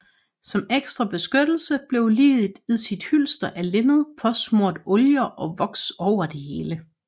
Som ekstra beskyttelse blev liget i sit hylster af linned påsmurt oljer og voks over det hele